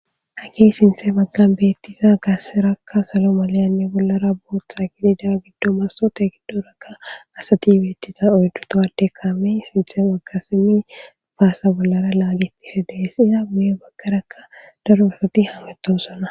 Hakey sinthe baggan beettiza garserakka solo maliyanni bollara booththa gidida giddo masote giddorakka asati beettisa oyddu towade kame sinthem agasimi faasa bollara laagitishe deessisa buye baggarakka daro rakati hametosona.